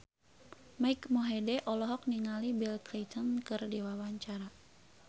Mike Mohede olohok ningali Bill Clinton keur diwawancara